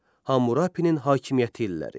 Hammurapinin hakimiyyəti illəri.